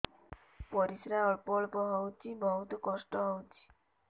ପରିଶ୍ରା ଅଳ୍ପ ଅଳ୍ପ ହଉଚି ବହୁତ କଷ୍ଟ ହଉଚି